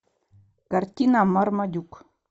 картина мармадюк